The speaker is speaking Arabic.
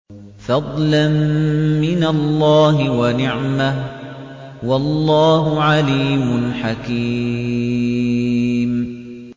فَضْلًا مِّنَ اللَّهِ وَنِعْمَةً ۚ وَاللَّهُ عَلِيمٌ حَكِيمٌ